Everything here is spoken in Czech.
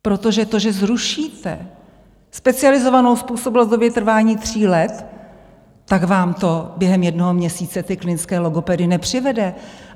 Protože to, že zrušíte specializovanou způsobilost v době trvání tří let, tak vám to během jednoho měsíce ty klinické logopedy nepřivede.